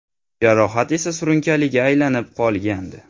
Jarohat esa surunkaliga aylanib qolgandi.